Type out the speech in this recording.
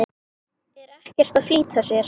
Er ekkert að flýta sér.